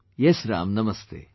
Yes Ram, Namaste